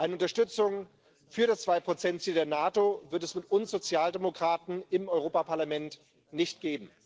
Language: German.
Eine Unterstützung für das 2 Ziel der NATO wird es mit uns Sozialdemokraten im Europäischen Parlament nicht geben.